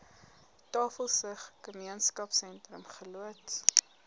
tafelsig gemeenskapsentrum geloods